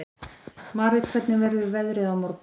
Marit, hvernig verður veðrið á morgun?